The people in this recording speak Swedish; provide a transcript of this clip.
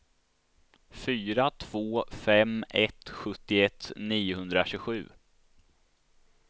fyra två fem ett sjuttioett niohundratjugosju